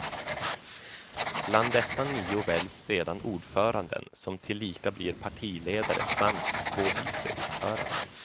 Bland dessa nio väljs sedan ordföranden, som tillika blir partiledare samt två viceordföranden.